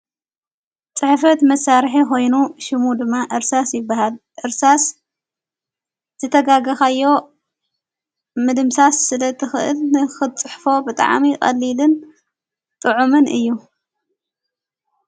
ጽሒፈት መሣርሐ ኾይኑ ሹሙ ድማ ዕርሳስ ይበሃል ዕርሳስ ዘተጋግኻዮ ምድምሳስ ስለ ትኽእልኽጽሕፎ ብጥዓሚ ቐሊልን ጥዑምን እዩ።